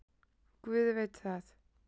Guð veit það.